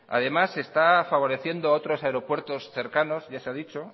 además se está favoreciendo otros aeropuertos cercanos ya se ha dicho